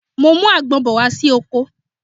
Mo ń mú àgbon bọ̀ wá sí oko